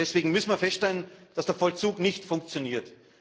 Deswegen müssen wir feststellen, dass der Vollzug nicht funktioniert.